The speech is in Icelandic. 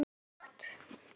Það er allt hægt.